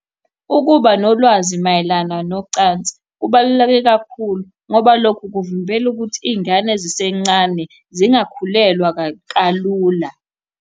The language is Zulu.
Ukuba nolwazi mayelana nocansi kubaluleke kakhulu ngoba lokho kuvimbela ukuthi iy'ngane zisencane zingakhulelwa kalula.